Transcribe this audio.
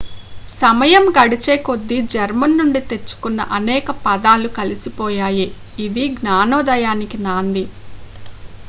సమయం గడిచేకొద్దీ జర్మన్ నుండి తెచ్చుకున్న అనేక పదాలు కలిసిపోయాయి ఇది జ్ఞానోదయానికి నాంది